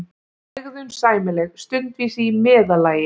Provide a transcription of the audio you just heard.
hegðun sæmileg, stundvísi í meðallagi.